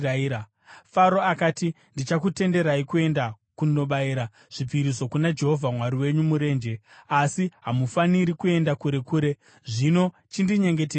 Faro akati, “Ndichakutenderai kuenda kunobayira zvipiriso kuna Jehovha Mwari wenyu murenje, asi hamufaniri kuenda kure kure. Zvino chindinyengetererai.”